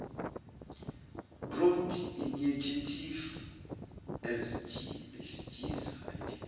growth initiative asgisa